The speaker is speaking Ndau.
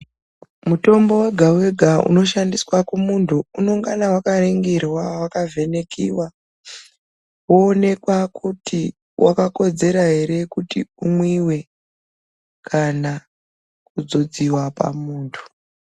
Mutombo wega wega unoshandiswa kumuntu unongana wakaningirwa wakavhenekiwa woonekwa kuti wakakodzera ere kuti umwiwe kana kudzodziwa pamuntu.